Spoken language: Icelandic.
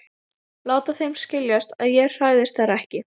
Láta þeim skiljast að ég hræðist þær ekki.